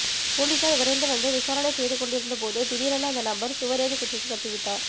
போலீசார் விரைந்து வந்து விசாரணை செய்து கொண்டிருந்தபோது திடீரென அந்த நபர் சுவரேறி குதித்து தப்பிவிட்டார்